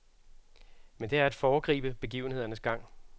Men det er at foregribe begivenhedernes gang.